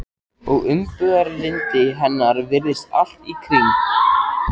Og umburðarlyndi hennar virðist allt í kring.